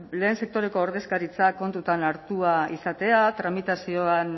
lehen sektoreko ordezkaritza kontuan hartua izatea